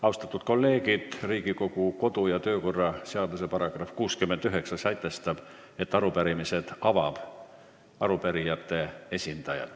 Austatud kolleegid, Riigikogu kodu- ja töökorra seadus sätestab, et pärast arupärimisele vastamist saab kõigepealt sõna arupärijate esindaja.